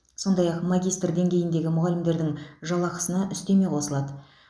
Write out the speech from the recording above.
сондай ақ магистр деңгейіндегі мұғалімдердің жалақысына үстеме қосылады